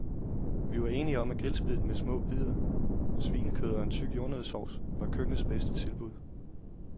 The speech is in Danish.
Vi var enige om, at grillspiddet med små bidder svinekød og en tyk jordnøddesovs var køkkenets bedste tilbud.